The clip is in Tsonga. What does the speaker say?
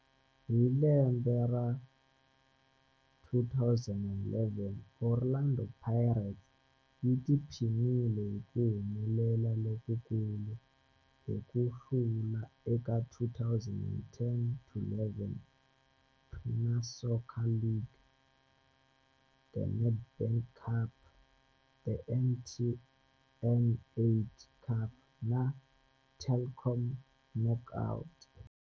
Hi lembe ra 2011, Orlando Pirates yi tiphinile hi ku humelela lokukulu hi ku hlula eka 2010-11 Premier Soccer League, The Nedbank Cup, The MTN 8 Cup na The Telkom Knockout.